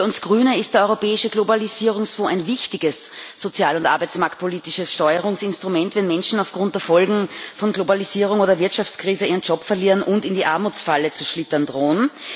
Für uns Grüne ist der Europäische Globalisierungsfonds ein wichtiges sozial und arbeitsmarktpolitisches Steuerungsinstrument, wenn Menschen aufgrund der Folgen von Globalisierung oder Wirtschaftskrise ihren Job verlieren und in die Armutsfalle zu schlittern drohen.